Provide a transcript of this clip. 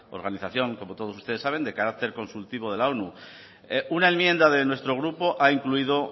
organización como todos ustedes saben de carácter consultivo de la onu una enmienda de nuestro grupo ha incluido